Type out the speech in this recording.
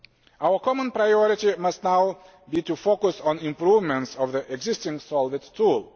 Our common priority must now be to focus on improvements in the existing SOLVIT tool.